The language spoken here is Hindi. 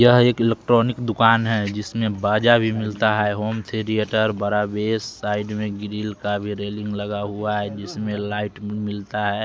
यह एक इलेक्ट्रॉनिक दुकान है जिसमें बाजा भी मिलता हैं होम थिएटर बड़ा बेस साइड में ग्रील का भी रेलिंग लगा हुआ है जिसने लाइट मिलता हैं।